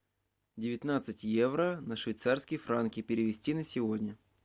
девятнадцать евро на швейцарские франки перевести на сегодня